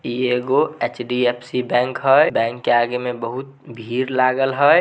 ई एगो HDFC bank हई bank के आगे में बहुत भीड़ लागल हई।